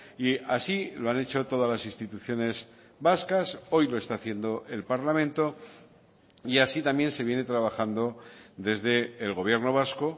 y así lo han hecho todas las instituciones vascas hoy lo está haciendo el parlamento y así también se viene trabajando desde el gobierno vasco